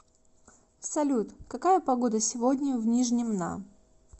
салют какая погода сегодня в нижнем на